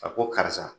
A ko karisa